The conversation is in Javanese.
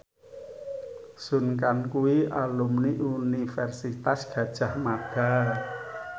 Sun Kang kuwi alumni Universitas Gadjah Mada